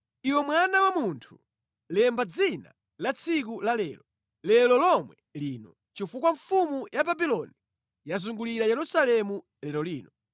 “Iwe mwana wa munthu lemba dzina la tsiku lalero, lero lomwe lino, chifukwa mfumu ya Babuloni yazungulira Yerusalemu lero lino.